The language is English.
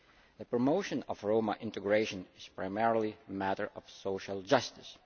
The promotion of Roma integration is primarily a matter of social justice.